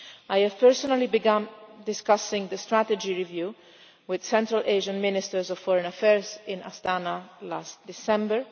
I personally began discussing the strategy review with Central Asian ministers of foreign affairs in Astana last December.